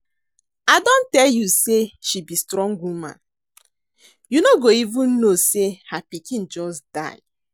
I don tell you say she be strong woman, you no go even no say her pikin just die